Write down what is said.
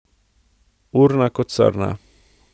Urna kot srna.